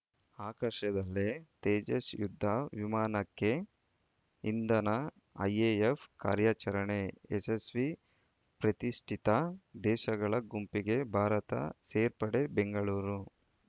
ಆಕಾಶದಲ್ಲೇ ತೇಜಸ್‌ ಯುದ್ಧ ವಿಮಾನಕ್ಕೆ ಇಂಧನ ಐಎಎಫ್‌ ಕಾರ್ಯಾಚರಣೆ ಯಶಸ್ವಿ ಪ್ರತಿಷ್ಠಿತ ದೇಶಗಳ ಗುಂಪಿಗೆ ಭಾರತ ಸೇರ್ಪಡೆ ಬೆಂಗಳೂರು